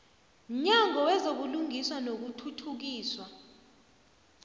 mnyango wezobulungiswa nokuthuthukiswa